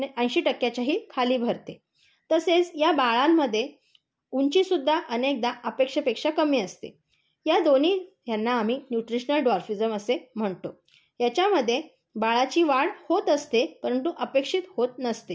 ऐशी टक्क्याच्याही खाली भरते. तसेच या बाळांमध्ये ऊंची सुद्धा अनेकदा अपेक्षेपेक्षा कमी असते. या दोन्ही यांना आम्ही न्यूट्रिशनल द्वार्फिझम असे म्हणतो, याच्यामध्ये बाळाची वाढ होत असते, परंतु अपेक्षेत होत नसते.